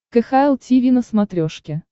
кхл тиви на смотрешке